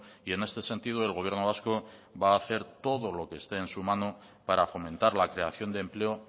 y en este sentido el gobierno vasco va a hacer todo lo que esté en su mano para fomentar la creación de empleo